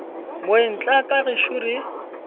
moeng tla ka gešo re